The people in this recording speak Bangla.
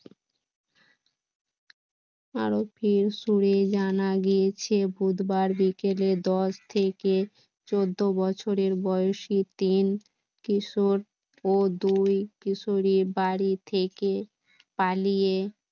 সুরে জানা গিয়েছে বুধবার বিকেলে দশ থেকে চোদ্দ বছরের বয়সী তিন কিশোর ও দুই কিশোরী বাড়ি থেকে পালিয়ে